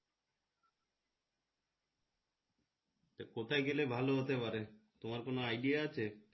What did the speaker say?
কোথায় গেলে ভালো হতে পারে তোমার কোন idea আছে।